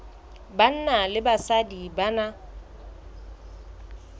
banna le basadi ba na